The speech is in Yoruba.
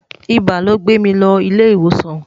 ibà ló gbè mí ló ilé ìwòsàn